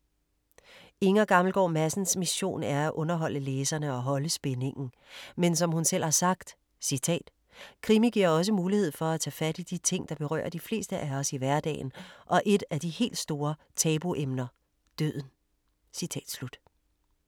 Inger Gammelgaard Madsens mission er at underholde læserne og holde spændingen. Men, som hun selv har sagt: ”krimi giver også mulighed for at tage fat i de ting, der berører de fleste af os i hverdagen og et af de helt store tabuemner – døden.”